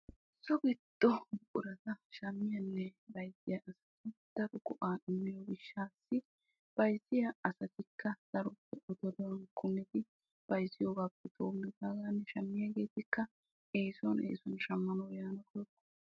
so giddo buqurata shammiyanne bayzziyageetidaro go''a demmiyo gishshassi bayzziya asatikk daroppe oge doonan kummidi bayzziyoogapppe doomidaagan shammiyaageetikka eessuwan eessuwan shamanaw woykko ...